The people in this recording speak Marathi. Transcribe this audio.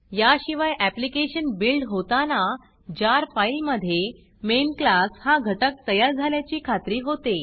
याशिवाय ऍप्लिकेशन बिल्ड होताना जार फाईलमधे मेन classमेन क्लास हा घटक तयार झाल्याची खात्री होते